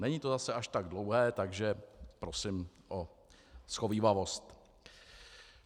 Není to zase až tak dlouhé, takže prosím o shovívavost.